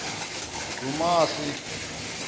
dumasi